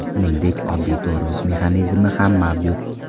Shuningdek, oddiy tormoz mexanizmi ham mavjud.